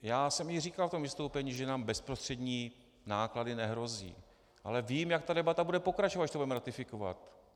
Já jsem i říkal v tom vystoupení, že nám bezprostřední náklady nehrozí, ale vím, jak ta debata bude pokračovat, když to budeme ratifikovat.